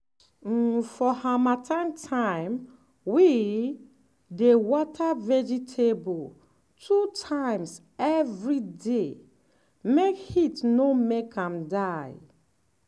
um for harmattan time we dey water vegetable two times every day make heat no make am die.